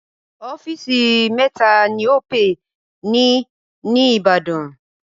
Ọ́fíìsì mẹ́ta ni Opay ni ní Ìbàdàn.